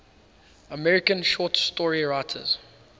american short story writers